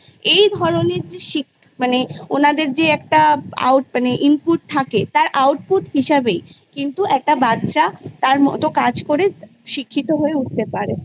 এই ধরণের যে শিখ মানে ওনাদের যে একটা আউ মানে Input থাকে তার Output হিসাবে কিন্তু একটা বাচ্ছা তার মতো কাজ করে শিক্ষিত হয়ে উঠতে পারে